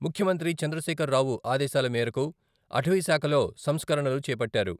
ముఖ్యమంత్రి చంద్రశేఖరరావు ఆదేశాల మేరకు అటవీశాఖలో సంస్కరణలు చేపట్టారు.